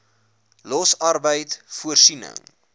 los arbeid voorsiening